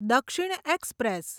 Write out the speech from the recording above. દક્ષિણ એક્સપ્રેસ